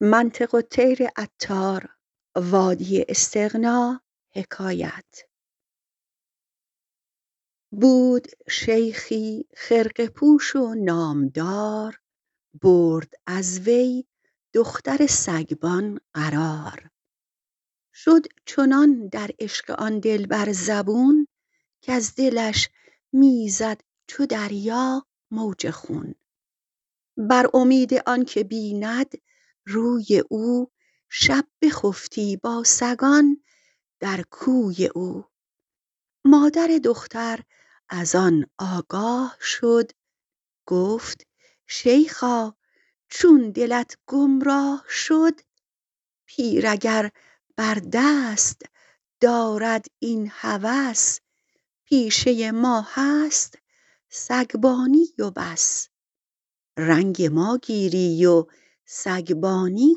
بود شیخی خرقه پوش و نامدار برد از وی دختر سگبان قرار شد چنان در عشق آن دلبر زبون کز دلش می زد چو دریا موج خون بر امید آنک بیند روی او شب بخفتی با سگان در کوی او مادر دختر از آن آگاه شد گفت شیخا چون دلت گم راه شد پیر اگر بر دست دارد این هوس پیشه ما هست سگبانی و بس رنگ ماگیری و سگبانی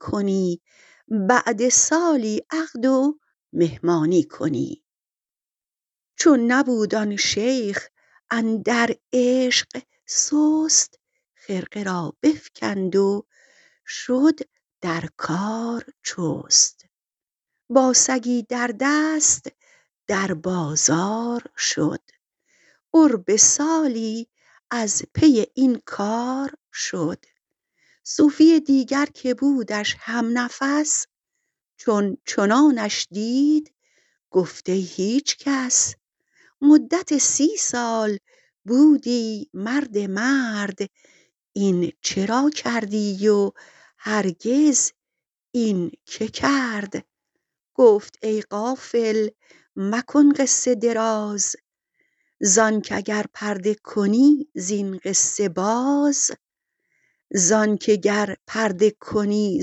کنی بعد سالی عقد و مهمانی کنی چون نبود آن شیخ اندر عشق سست خرقه را بفکند و شد در کار چست با سگی در دست در بازار شد قرب سالی از پی این کار شد صوفی دیگر که بودش هم نفس چون چنانش دید گفت ای هیچ کس مدت سی سال بودی مرد مرد این چرا کردی و هرگز این که کرد گفت ای غافل مکن قصه دراز زانک اگر پرده کنی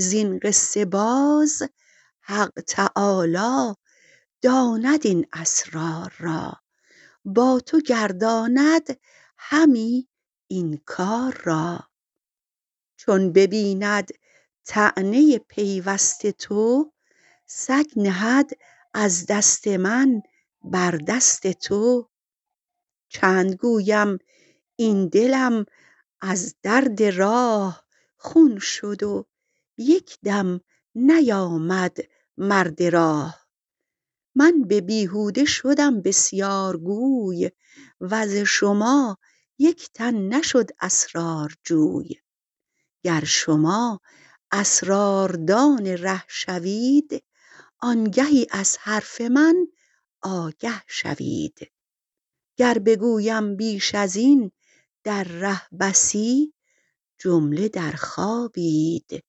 زین قصه باز حق تعالی داند این اسرار را با تو گرداند همی این کار را چون ببیند طعنه پیوست تو سگ نهد از دست من بر دست تو چند گویم این دلم از درد راه خون شد و یک دم نیامد مرد راه من ببیهوده شدم بسیار گوی وز شما یک تن نشد اسرارجوی گر شما اسرار دان ره شوید آنگهی از حرف من آگه شوید گر بگویم بیش ازین در ره بسی جمله در خوابید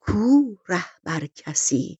کو رهبر کسی